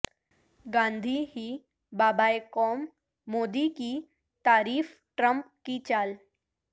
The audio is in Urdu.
گاندھی ہی بابائے قوم مودی کی تعریف ٹرمپ کی چال